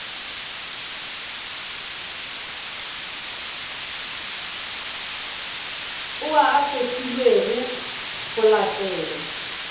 ao a kgethilwego go latela